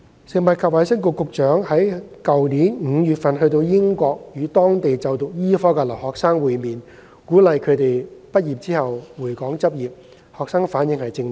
食物及衞生局局長於去年5月到英國與當地就讀醫科的留學生會面，鼓勵他們畢業後回港執業，學生反應正面。